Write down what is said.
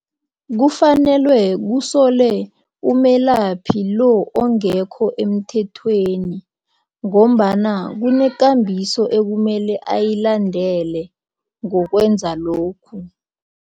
Kufanelwe kusolwe umelaphi lo ongekho emthethweni ngombana kufunkambiso ekumele ayilandele ngokwenza lokhu.